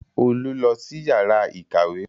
Olú lọ sí yàrá ìkàwé